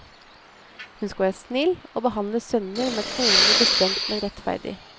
Hun skal være snill og behandle sønner med koner bestemt men rettferdig.